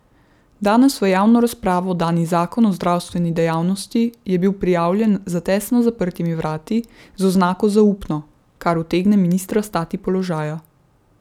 Danes v javno razpravo dani zakon o zdravstveni dejavnosti je bil pripravljen za tesno zaprtimi vrati, z oznako zaupno, kar utegne ministra stati položaja.